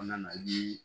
Kɔnɔna na ji